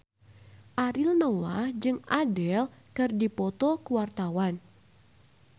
Ariel Noah jeung Adele keur dipoto ku wartawan